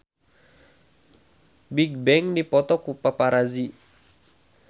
Bigbang dipoto ku paparazi